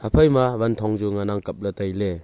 aphaima wan thong chu ngan aa kapla tailey.